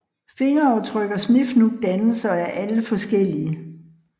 Fingeraftryk og Snefnug dannes og er alle forskellige